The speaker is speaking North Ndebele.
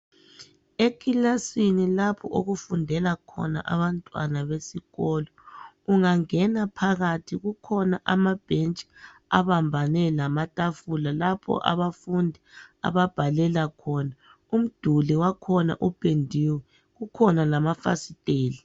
Ekilasini lapho okufundela khona abantwana besikolo ungangena phakathi kukhona amabhentshi abambane lamatafula lapho abafundi ababhalela khona umduli wakhona upendiwe kukhona lamafasitela